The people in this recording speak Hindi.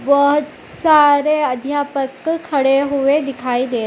बहुत सारे अध्यापक खड़े हुए दिखाई दे --